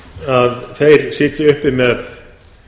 að þeir sitji uppi með